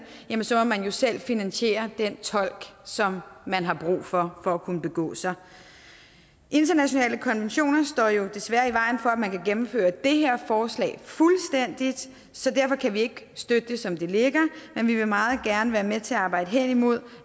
jamen så må man jo selv finansiere den tolk som man har brug for for at kunne begå sig internationale konventioner står desværre i vejen for at man kan gennemføre det her forslag fuldstændigt så derfor kan vi ikke støtte det som det ligger men vi vil meget gerne være med til at arbejde hen imod